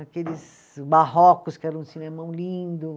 Aqueles barrocos, que era um cinemão lindo.